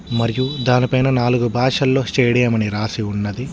మరియు దానిపైన నాలుగు భాషల్లో స్టేడియం అని రాసి ఉన్నది.